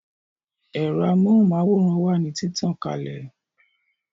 Ero amóhùn máwòrán wà ní títàn kalẹ̀